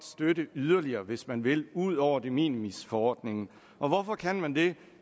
støtte yderligere hvis man vil ud over de minimis forordningen og hvorfor kan man det